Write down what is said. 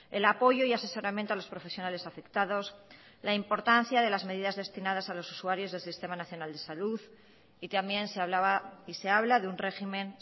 el apoyo y asesoramiento a los profesionales afectados la importancia de las medidas destinadas a los usuarios del sistema nacional de salud y también se hablaba y se habla de un régimen